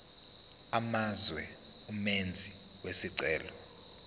amazwe umenzi wesicelo